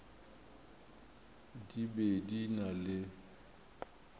di be di na le